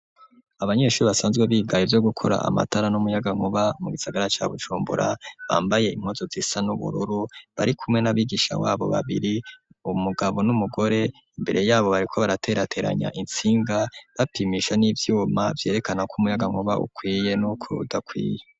Abanyeshuri basanzwe biga ivyo gukora amatara n'umuyagankuba mu gisagara ca Bujumbura bambaye impuzu zisa n'ubururu bari kumwe n'abigisha babo babiri umugabo n'umugore imbere yabo bariko baraterateranya intsinga bapimisha n'ivyuma vyerekana ko umuyaga nkuba ukwiye nuko udakwiye.